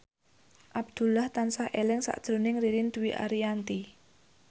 Abdullah tansah eling sakjroning Ririn Dwi Ariyanti